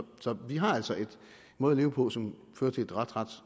vi har altså en måde at leve på som fører til et ret